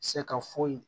Se ka foyi